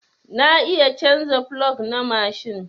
Na iya canza plog na mashin.